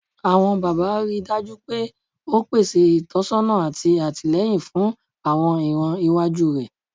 Awọn baba, rii daju pe o pese itọsọna ati atilẹyin fun awọn iran iwaju rẹ